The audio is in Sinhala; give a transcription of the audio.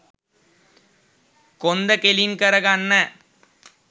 කොන්ද කෙළින් කරගන්න.